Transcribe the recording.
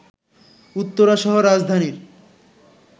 উত্তরাসহ রাজধানীর